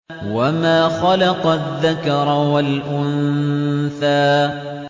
وَمَا خَلَقَ الذَّكَرَ وَالْأُنثَىٰ